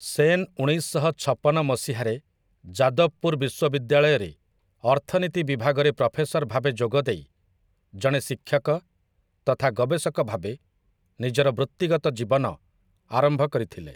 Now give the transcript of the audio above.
ସେନ୍ ଉଣେଇଶଶହଛପନ ମସିହାରେ ଯାଦବ୍‌ପୁର୍ ବିଶ୍ୱବିଦ୍ୟାଳୟରେ ଅର୍ଥନୀତି ବିଭାଗରେ ପ୍ରଫେସର୍ ଭାବେ ଯୋଗଦେଇ, ଜଣେ ଶିକ୍ଷକ ତଥା ଗବେଷକ ଭାବେ ନିଜର ବୃତ୍ତିଗତ ଜୀବନ ଆରମ୍ଭ କରିଥିଲେ ।